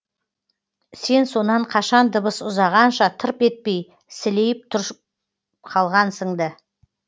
сен сонан қашан дыбыс ұзағанша тырп етпей сілейіп қалғансың ды